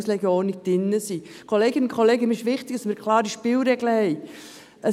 Kolleginnen und Kollegen, mir ist es wichtig, dass wir klare Spielregeln haben.